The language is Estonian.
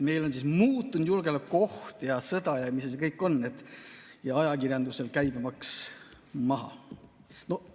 Meil on muutunud julgeolekuolukord ja käib sõda ja mis kõik veel – ja ajakirjandusel käibemaks maha!